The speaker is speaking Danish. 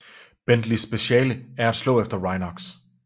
Bentleys speciale er at slå efter Rhynocs